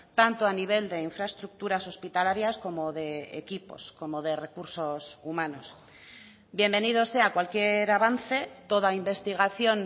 tanto a nivel de infraestructuras hospitalarias como de equipos como de recursos humanos bienvenido sea cualquier avance toda investigación